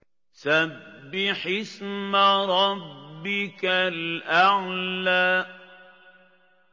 سَبِّحِ اسْمَ رَبِّكَ الْأَعْلَى